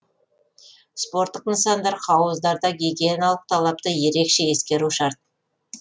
спорттық нысандар хауыздарда гигиеналық талапты ерекше ескеру шарт